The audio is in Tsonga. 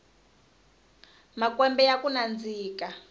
makwembe yakunandzika